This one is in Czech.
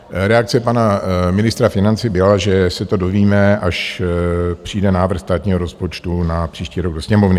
Reakce pana ministra financí byla, že se to dovíme, až přijde návrh státního rozpočtu na příští rok do Sněmovny.